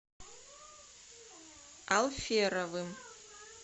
алферовым